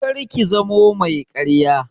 Kar ki zamo mai ƙarya!